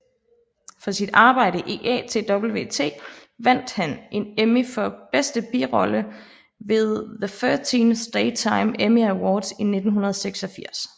For sit arbejde i ATWT vandt han en Emmy for bedste birolle ved the 13th Daytime Emmy Awards i 1986